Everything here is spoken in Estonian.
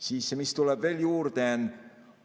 Siis mis tuleb veel juurde?